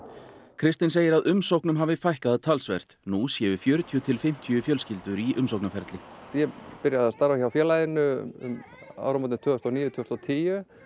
kristinn segir að umsóknum hafi fækkað talsvert nú séu fjörutíu til fimmtíu fjölskyldur í umsóknarferli ég byrjaði að starfa hjá félaginu um áramótin tvö þúsund og níu til tíu